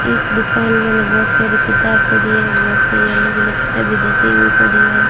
इस दुकान के अंदर बहोत सारी किताब पड़ी है बहोत सारी अलग अलग किताबे जची हुई पड़ी है।